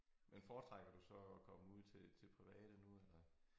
Men foretrækker du så at komme ud til til private nu eller